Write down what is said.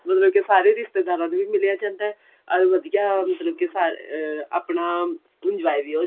ਮਤਲਬ ਕਿ ਸਾਰੇ ਰਿਸ਼ਤੇਦਾਰਾਂ ਨੂੰ ਵੀ ਮਿਲਿਆ ਜਾਂਦਾ ਓਰ ਵਧੀਆ ਮਤਲਬ ਕਿ ਸਾਰੇ ਅh ਆਪਣਾ enjoy ਵੀ ਹੋ